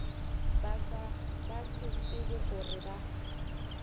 ba se tsebe gore ba